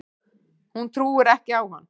Hún trúir ekki á hann.